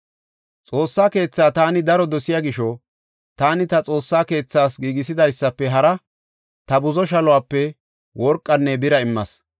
Xoossa keetha taani daro dosiya gisho, taani ta Xoossa keethaas giigisidaysafe hara ta buzo shaluwape worqanne bira immas.